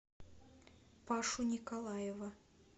пашу николаева